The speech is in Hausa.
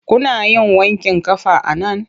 Kuna yin wanƙin ƙafa a nan?